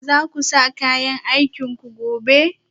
Za ku sa kayan aikinku gobe?